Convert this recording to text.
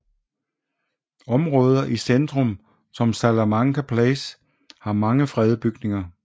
Områder i centrum som Salamanca Place har mange fredede bygninger